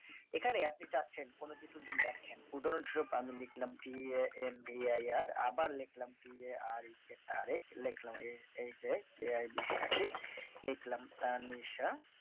এখানে আপনি চাচ্ছেন কোন কিছু যদি লেখেন উদাহরণসরূপ আমি লিখলাম tavair আবার tarek তারিক লেখলাম sakib লিখলাম তানিশা